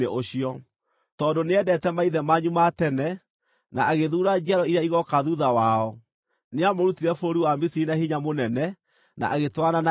Tondũ nĩendeete maithe manyu ma tene, na agĩthuura njiaro iria igooka thuutha wao, nĩamũrũtire bũrũri wa Misiri na hinya mũnene, na agĩtwarana na inyuĩ,